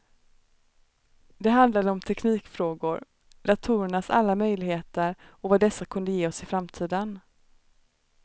Det handlade om teknikfrågor, datorernas alla möjligheter och vad dessa kunde ge oss i framtiden.